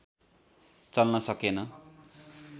चल्न सकेन